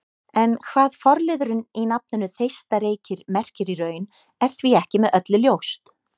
En hvað forliðurinn í nafninu Þeistareykir merkir í raun er því ekki með öllu ljóst.